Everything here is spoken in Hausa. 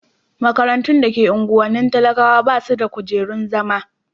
makarantu da ke unguwannin talakawa basu da kujerun zama